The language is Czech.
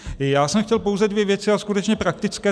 Já jsem chtěl pouze dvě věci, a skutečně praktické.